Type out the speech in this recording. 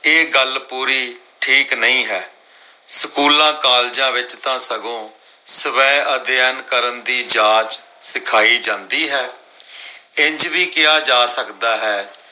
ਇਹ ਗੱਲ ਪੂਰੀ ਠੀਕ ਨਹੀਂ ਹੈ ਸਕੂਲਾਂ, ਕਾਲਜਾਂ ਵਿਚ ਤਾਂ ਸਗੋਂ ਸਵੈ ਅਧਿਐਨ ਕਰਨ ਦੀ ਜਾਚ ਸਿਖਾਈ ਜਾਂਦੀ ਹੈ, ਇੰਝ ਵੀ ਕਿਹਾ ਜਾ ਸਕਦਾ ਹੈ